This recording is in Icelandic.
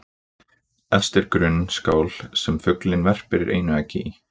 Efst er grunn skál sem fuglinn verpir einu eggi í.